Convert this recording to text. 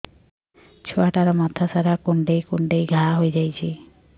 ଛୁଆଟାର ମଥା ସାରା କୁଂଡେଇ କୁଂଡେଇ ଘାଆ ହୋଇ ଯାଇଛି